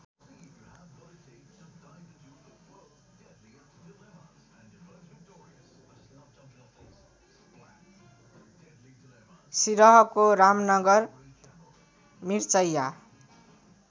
सिरहको Ramnagar Mirchaiya